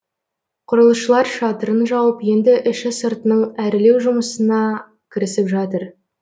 құрылысшылар шатырын жауып енді іші сыртының әрлеу жұмысынына кірісіп жатыр